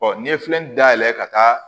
n'i ye filɛli dayɛlɛ ka taa